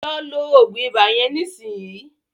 Lọ lo òògùn ibà yẹn nísìnyìí.